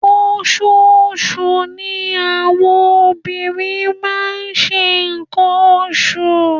Oṣooṣù ni àwọn obìnrin máa ń ṣe nnkan oṣù